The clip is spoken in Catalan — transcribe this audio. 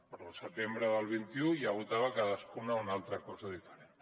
però al setembre del vint un ja votava cadascuna una altra cosa diferent